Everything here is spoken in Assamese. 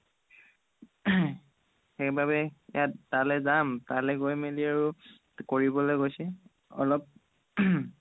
সেইবাবে ইয়াত তালে যাম তালে গৈ মেলি আৰু কৰিবলে কৈছে অলপ